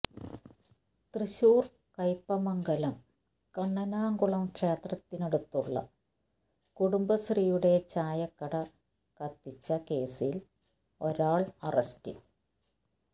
തൃശൂർ കൈപ്പമംഗലം കണ്ണനാംകുളം ക്ഷേത്രത്തിനടുത്തുള്ള കുടുംബശ്രീയുടെ ചായക്കട കത്തിച്ച കേസിൽ ഒരാൾ അറസ്റ്റിൽ